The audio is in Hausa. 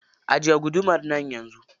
Ajiye gudumar nan yanzu.